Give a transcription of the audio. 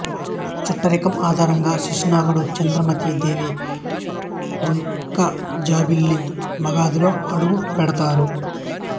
చుట్టరికం ఆధారంగా శిశునాగుడు చంద్రమతీ దేవి వంకజాబిల్లి మగధలో అడుగుపెడతారు